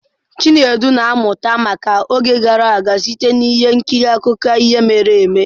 Chinedu na-amụta maka oge gara aga site na ihe nkiri akụkọ ihe mere eme.